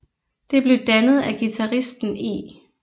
Det blev dannet af guitaristen E